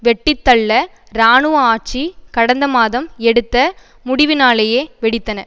வெட்டித்தள்ள இராணுவ ஆட்சி கடந்த மாதம் எடுத்த முடிவினாலேயே வெடித்தன